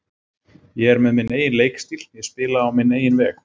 Ég er með minn eigin leikstíl, ég spila á minn eigin veg.